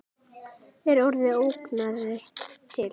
Er orðið ógnanir til?